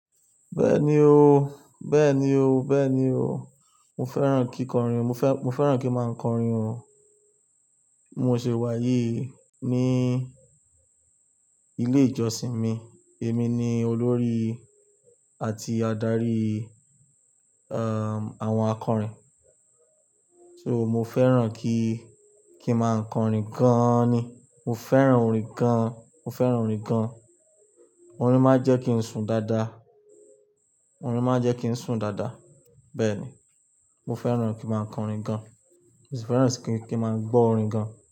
Bẹ́ẹ̀ni o, bẹ́ẹ̀ni o, bẹ́ẹ̀ni o. Mo fẹ́ràn kí kọrin, mo fẹ́, mo fẹ́ràn kí ń máa kọrin o. Mo ṣe wáyi ní ilé ìjọsìn mi. Èmi ni olórí àti adarí, àwọn akọrin. So mo fẹ́ràn kí, kí máa kọrin gan-an ni. Mo fẹ́ràn orin gan-an, mo fẹ́ràn orin gan-an. Orin máa ń jẹ́ kí n sùn dáadáa. Orin máa ń jẹ́ kí n sùn dáadáa. Bẹ́ẹ̀ ni, mo fẹ́ràn kí máa kọrin gan-an. Mo sì fẹ́ràn kí, kí máa gbọ́ orin gan-an.